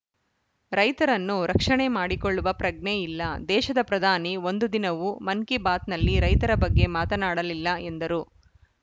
ರೈತರನ್ನು ರಕ್ಷಣೆ ಮಾಡಿಕೊಳ್ಳುವ ಪ್ರಜ್ಞೆ ಇಲ್ಲ ದೇಶದ ಪ್ರಧಾನಿ ಒಂದು ದಿನವು ಮನ್‌ಕಿ ಬಾತ್‌ನಲ್ಲಿ ರೈತರ ಬಗ್ಗೆ ಮಾತನಾಡಲಿಲ್ಲ ಎಂದರು